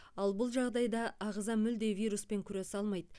ал бұл жағдайда ағза мүлде вируспен күресе алмайды